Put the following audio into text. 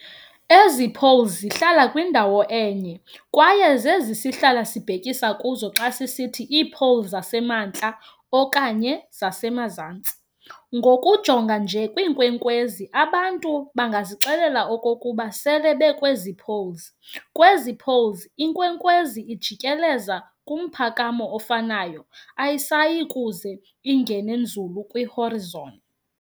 Ezi"poles" zihlala kwindawo enye, kwaye zezi sihlala sibhekisa kuzo xa sisithi iipoles zasemaNtla okanye zasemaZantsi. Ngokujonga nje kwiinkwenkwezi abantu bangazixelela okokuba sele bekwezi"poles ", kwezi "poles", inkwenkwezi ijikeleza kumphakamo ofanayo, ayisayikuze ingene nzulu kwi"horizon,".